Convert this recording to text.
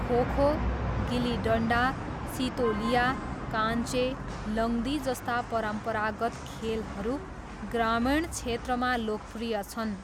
खोखो, गिल्ली डन्डा, सितोलिया, काञ्चे, लङ्दी जस्ता परम्परागत खेलहरू ग्रामीण क्षेत्रमा लोकप्रिय छन्।